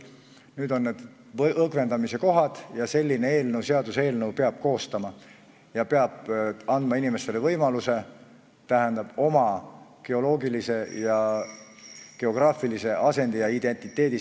Nüüd on aeg õgvendamise kohad ette võtta ja koostada seaduseelnõu, sest inimestele peab andma võimaluse säilitada oma geograafiline asend ja identiteet.